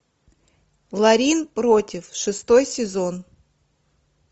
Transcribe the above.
ларин против шестой сезон